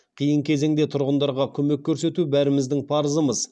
қиын кезеңде тұрғындарға көмек көрсету бәріміздің парызымыз